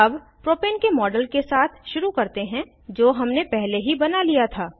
अब प्रोपेन के मॉडल के साथ शुरू करते हैं जो हमने पहले ही बना लिया था